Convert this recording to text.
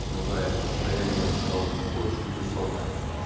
ну да это расстояние я бы сказал очень весомое